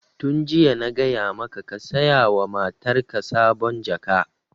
Tun jiya na gaya maka ka saya wa matarka sabon jaka!